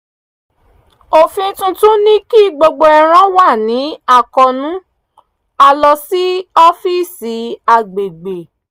òfin tuntun ní kí gbogbo ẹran wà ní àkóónú a lọ sí ọ́fíìsì agbègbè